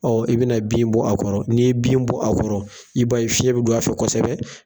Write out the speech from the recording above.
Ɔ i bɛ na bin bɔ a kɔrɔ, n'i ye bin bɔ a kɔrɔ, i b'a ye fiɲɛ bɛ don a fɛ kosɛbɛ.